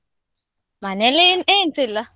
ಮನೇಲಿ ಏನ್~ ಏನ್ಸಾ ಇಲ್ಲ.